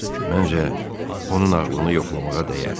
Məncə, onun ağlını yoxlamağa dəyər.